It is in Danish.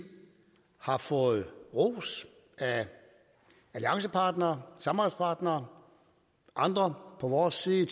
har fået ros af alliancepartnere samarbejdspartnere andre på vores side i